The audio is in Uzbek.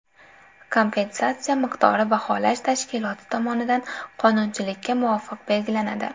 Kompensatsiya miqdori baholash tashkiloti tomonidan qonunchilikka muvofiq belgilanadi.